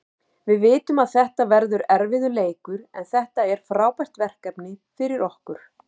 Við vitum að þetta verður erfiður leikur, en þetta er frábært verkefni fyrir okkur.